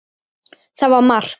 Það var mark.